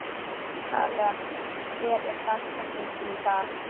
Kaleb, hver er dagsetningin í dag?